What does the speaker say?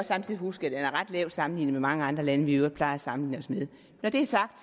samtidig huske at det er ret lavt sammenlignet i mange andre lande vi i øvrigt plejer at sammenligne os med når det er sagt